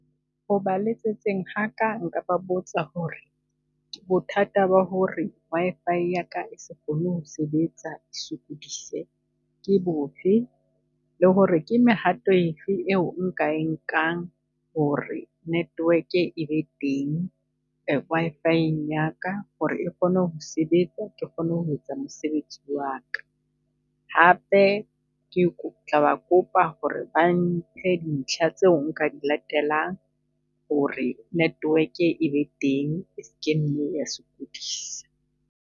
O ba letsetseng haka nka ba botsa ho re bothata ba ho re Wi-Fi ya ka e se kgone ho sebetsa e sokodise ke bofe? Le ho re ke mehato efe e o nka e nkang ho re network e be teng Wi-Fi-eng ya ka ho re e kgone ho sebetsa ke kgone ho etsa mosebetsi wa ka? Hape ke tla ba kopa ho re ba mphe dintlha tseo nka di latelang ho re network-e e be teng, e ske nne ya sokodisa?